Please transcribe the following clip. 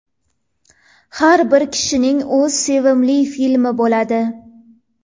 Har bir kishining o‘z sevimli filmi bo‘ladi.